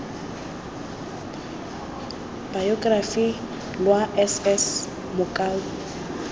bayokerafi lwa s s mokua